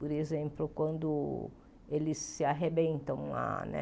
Por exemplo, quando eles se arrebentam lá, né?